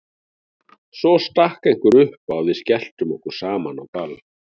Svo stakk einhver upp á að við skelltum okkur saman á ball.